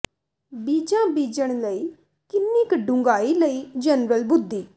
ਬੀਜਾਂ ਬੀਜਣ ਲਈ ਕਿੰਨੀ ਕੁ ਡੂੰਘਾਈ ਲਈ ਜਨਰਲ ਬੁੱਧੀ